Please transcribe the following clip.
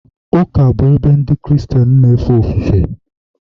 ụka bụ ebe Ndị Kristien na-efe ofufe..